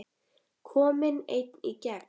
Kominn einn í gegn?